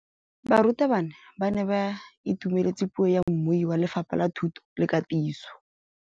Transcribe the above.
Barutabana ba ne ba itumeletse puô ya mmui wa Lefapha la Thuto le Katiso.